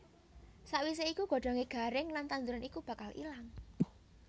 Sawisé iku godhongé garing lan tanduran iku bakal ilang